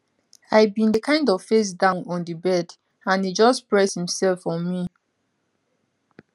i bin dey kind of face down on di bed and e just press imsef on me